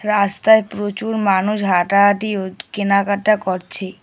রাস্তায় প্রচুর মানুষ হাঁটাহাটি ও কেনাকাটা করছে।